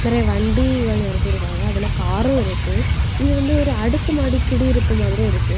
வண்டிகள் நிறுத்திருக்காங்க அதுல காரு இருக்கு இது வந்து ஒரு அடுக்கு மாடி குடியிருப்பு மாதிறி இருக்கு.